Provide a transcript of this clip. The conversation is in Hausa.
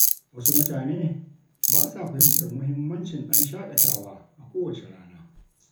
Wasu mutane ba sa fahimtar mahimmancin ɗan shaƙatawa a kowace rana.